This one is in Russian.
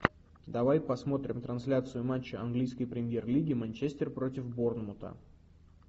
давай посмотрим трансляцию матча английской премьер лиги манчестер против борнмута